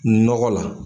Nɔgɔ la